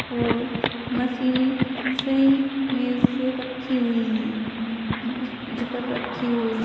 और मशीने सही में से रखी हुई हैं मेज पर रखी हुई--